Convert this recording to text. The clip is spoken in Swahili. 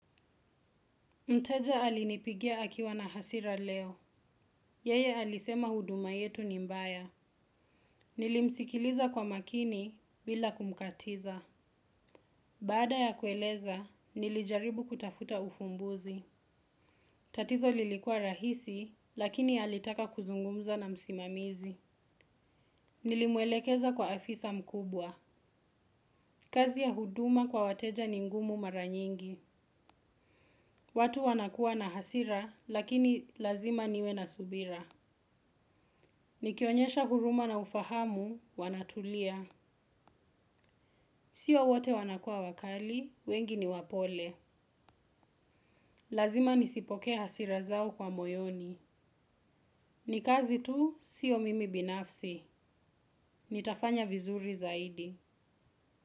Mteja alinipigia akiwa na hasira leo. Yeye alisema huduma yetu ni mbaya. Nilimsikiliza kwa makini bila kumkatiza. Baada ya kueleza, nilijaribu kutafuta ufumbuzi. Tatizo lilikua rahisi, lakini alitaka kuzungumza na msimamizi. Nilimwelekeza kwa afisa mkubwa. Kazi ya huduma kwa wateja ni ngumu mara nyingi. Watu wanakuwa na hasira, lakini lazima niwe na subira. Nikionyesha huruma na ufahamu, wanatulia. Sio wote wanakuwa wakali, wengi ni wapole. Lazima nisipokee hasira zao kwa moyoni. Ni kazi tu, sio mimi binafsi. Nitafanya vizuri zaidi.